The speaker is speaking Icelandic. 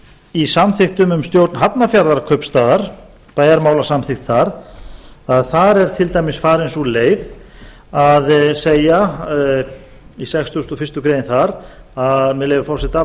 í samþykktum um stjórn hafnarfjarðarkaupstaðar bæjarmálasamþykkt þar þar er til dæmis farin sú leið að segja í sextugasta og fyrstu grein þar með leyfi forseta